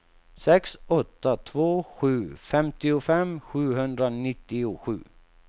sex åtta två sju femtiofem sjuhundranittiosju